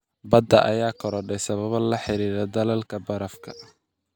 Badda ayaa korodhay sababo la xiriira dhalaalka barafka.